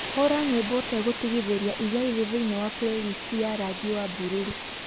hura nyimbo ũtegũtigithĩria iria irĩ thĩinĩ wa Playlist ya rangi wa bururu